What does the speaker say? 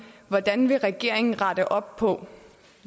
hvordan vil regeringen rette op på